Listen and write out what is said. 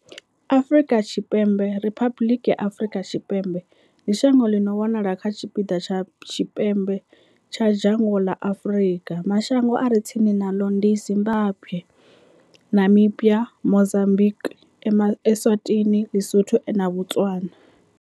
Afrika Tshipembe, Riphabuḽiki ya Afrika Tshipembe, ndi shango ḽi no wanala kha tshipiḓa tsha tshipembe tsha dzhango ḽa Afrika. Mashango a re tsini naḽo ndi Zimbagwe, Namibia, Mozambikwi, Eswatini, Lisotho na Botswana.